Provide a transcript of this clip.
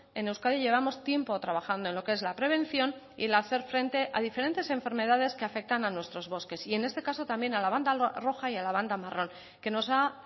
en euskadi llevamos tiempo trabajando en lo que es la prevención y el hacer frente a diferentes enfermedades que afectan a nuestros bosques y en este caso también a la banda roja y a la banda marrón que nos ha